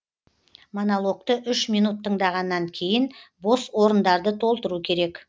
монологты үш минут тыңдағаннан кейін бос орындарды толтыру керек